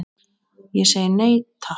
Ég segi nei, takk.